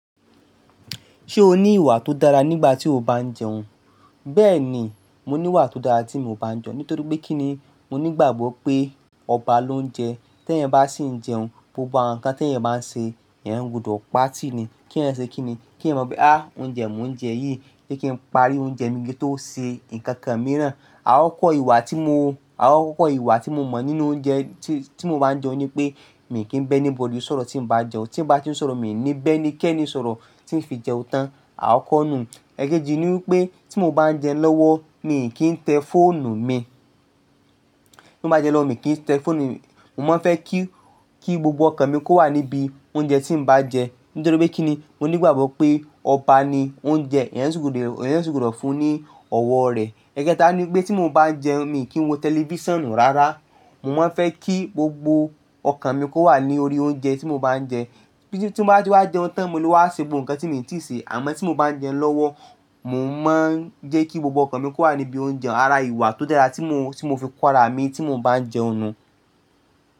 Ṣé o ní ìwà tó dára nígbà tí o bá ń jẹun? Bẹ́ẹ̀ni, mo ní ìwà tó dára tí mo bá ń jẹun. Nítorí pé kí ni? Mo ní ìgbàgbọ́ pé ọba ló ń jẹ. Tẹ́ ẹ bá sì ń jẹun, gbogbo àwọn nǹkan tí ẹ̀ ń bá ṣe, ẹ̀ ń gbódò pa tì ni. Kí ẹ ṣe kí ni? Kí ẹ mọ bí, "oúnjẹ mo n jẹ yìí, je kí n parí oúnjẹ mi kí n tó ṣe nnkan kan mìíràn." Àkókò ìwà tí mo, àkókò ìwà tí mo mọ̀ nínú oúnjẹ tí mo bá ń jẹun ni pé, mi kì í bẹ́ ẹni bodì sọ̀rọ̀ tí mo bá jẹun. Tí mo bá ti ń sọ̀rọ̀, mi ò ní bẹ́ ẹnikẹ́ni sọ̀rọ̀ tí ń fi jẹun tán. Àkọ́konú ẹkẹ̀éjì ni wípé tí mo bá ń jẹ lọ́wọ́, mi kì í tẹ fọ́ọ̀nù mi. Tí mo bá jẹ lọ́wọ́, mi kì í tẹ fọ́ọ̀nù mi. Mo máa ń fẹ́ kí, kí gbogbo ọkàn mi kó wà níbí oúnjẹ tí mo bá ń jẹ. Nítorí pé kí ni? Mo ní ìgbàgbọ́ pé ọba ni ó ń jẹ, ẹ̀ yẹ́n sì gbọ́dọ̀ fún ní ọ̀wọ̀ rẹ̀. Ẹ̀ẹ́kẹta ni wípé tí mo bá ń jẹun, mi kì í wo tẹlifíṣàn rárá. Mo máa ń fẹ́ kí gbogbo ọkàn mi kó wà ní orí oúnjẹ tí mo bá ń jẹ. Tí mo bá ti wá jẹun tán ni mo ló wá ṣe gbogbo nǹkan tí mo ti ṣè. Àmọ́ tí mo bá ń jẹ lọ́wọ́, mò ń má ń jẹ́ kí gbogbo ọkàn mi kó wà níbí oúnjẹ. Àrá ìwà tó dára tí mo fi kóra mi tí mo bá ń jẹun nù.